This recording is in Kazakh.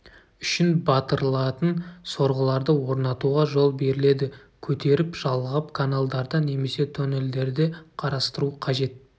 үшін батырылатын сорғыларды орнатуға жол беріледі көтеріп жалғап каналдарда немесе тоннелдерде қарастыру қажет